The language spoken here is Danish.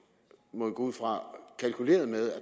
må vi gå ud fra kalkuleret med at